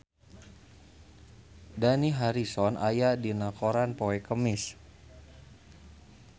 Dani Harrison aya dina koran poe Kemis